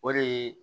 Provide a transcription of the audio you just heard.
O de ye